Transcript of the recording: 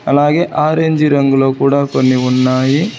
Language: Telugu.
అలాగే ఆరెంజ్ రంగులో కూడా కొన్ని ఉన్నాయి